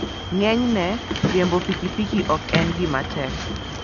Ng'enyne, riembo pikipiki ok en gima tek.